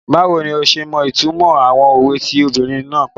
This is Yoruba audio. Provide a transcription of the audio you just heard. Báwo ni ọ ṣe mọ ìtumọ̀ àwọn òwe tí obìnrin náà pa?